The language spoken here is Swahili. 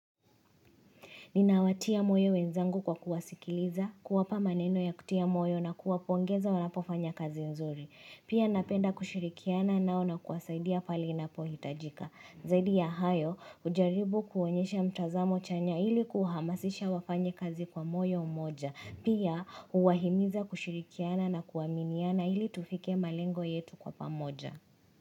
Ninawatia moyo wenzangu kwa kuwasikiliza, kuwapa maneno ya kutia moyo na kuwapongeza wanapofanya kazi nzuri. Pia napenda kushirikiana nao na kuwasaidia pale inapohitajika. Zaidi ya hayo hujaribu kuonyesha mtazamo chanya ili kuhamasisha wafanye kazi kwa moyo mmoja. Pia uwahimiza kushirikiana na kuaminiana ili tufike malengo yetu kwa pamoja.